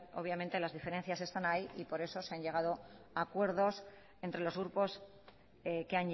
obviamente las diferencias están ahí y por eso se han llegado a acuerdos entre los grupos que